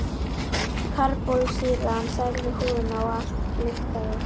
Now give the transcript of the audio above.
Karbólsýran særði húðina og allt lyktaði.